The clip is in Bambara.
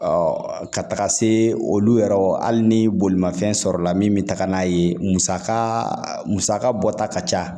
ka taga se olu yɛrɛ hali ni bolimafɛn sɔrɔla min bɛ taga n'a ye musaka musaka bɔta ka ca